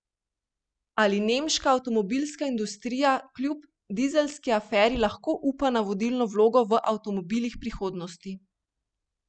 Ali nemška avtomobilska industrija kljub dizelski aferi lahko upa na vodilno vlogo v avtomobilih prihodnosti?